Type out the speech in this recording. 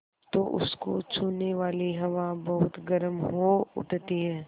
तो उसको छूने वाली हवा बहुत गर्म हो उठती है